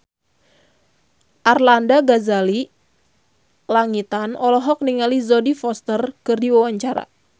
Arlanda Ghazali Langitan olohok ningali Jodie Foster keur diwawancara